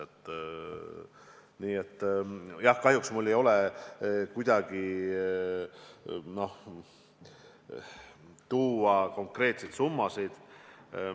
Aga jah, kahjuks mul ei ole tuua konkreetseid summasid.